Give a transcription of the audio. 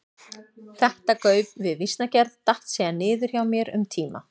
Þetta gauf við vísnagerð datt síðan niður hjá mér um tíma.